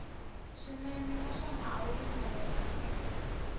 swinene naswona a wu ringanelangi